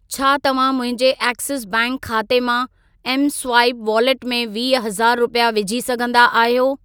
छा तव्हां मुंहिंजे एक्सिस बैंक खाते मां एमस्वाइप वॉलेट में वीह हज़ार रुपिया विझी सघंदा आहियो?